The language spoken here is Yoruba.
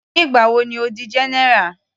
Nígbà wo ni Ó di general.